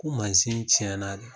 Ko mansin tiɲɛna de